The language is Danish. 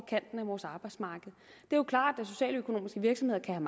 kanten af vores arbejdsmarked det er klart at socialøkonomiske virksomheder kan